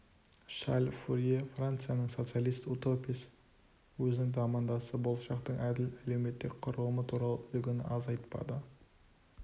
шарль фурье францияның социалист-утописі өзінің замандасы болашақтың әділ әлеуметтік құрылымы туралы үлгіні аз айтпады